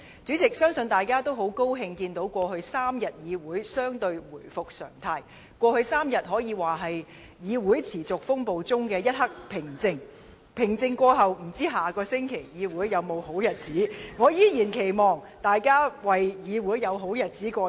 主席，相信大家都很高興看到過去3天，議會相對回復常態，這3天可說是議會持續風暴中的一刻平靜，但平靜過後，不知議會在下周還會否有這樣的好日子。